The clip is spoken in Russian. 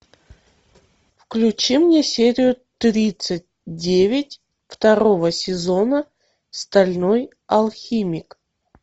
включи мне серию тридцать девять второго сезона стальной алхимик